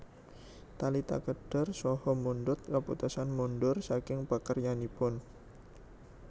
Talita kéder saha mundhut kaputusan mundhur saking pakaryananipun